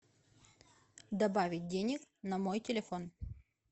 добавить денег на мой телефон